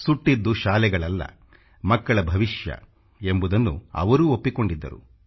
ಸುಟ್ಟಿದ್ದು ಶಾಲೆಗಳಲ್ಲ ಮಕ್ಕಳ ಭವಿಷ್ಯ ಎಂಬುದನ್ನು ಅವರೂ ಒಪ್ಪಿಕೊಂಡಿದ್ದರು